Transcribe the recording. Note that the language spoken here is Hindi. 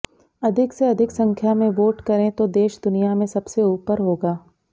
अधिक से अधिक संख्या में वोट करें तो देश दुनिया में सबसे ऊपर होगा